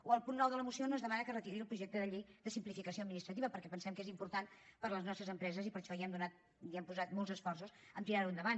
o el punt nou de la moció on es demana que es retiri el projecte de llei de simplificació administrativa perquè pensem que és important per a les nostres empreses i per això hem posat molts esforços a tirar ho endavant